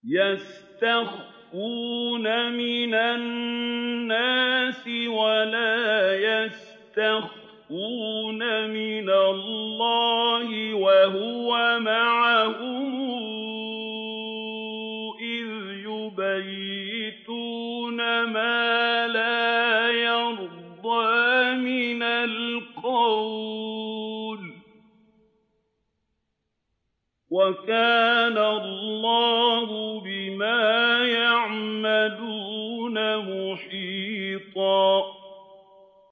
يَسْتَخْفُونَ مِنَ النَّاسِ وَلَا يَسْتَخْفُونَ مِنَ اللَّهِ وَهُوَ مَعَهُمْ إِذْ يُبَيِّتُونَ مَا لَا يَرْضَىٰ مِنَ الْقَوْلِ ۚ وَكَانَ اللَّهُ بِمَا يَعْمَلُونَ مُحِيطًا